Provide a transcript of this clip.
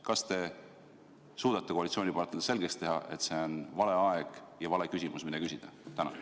Kas te suudate koalitsioonipartneritele selgeks teha, et see on vale aeg ja vale küsimus, mida küsida?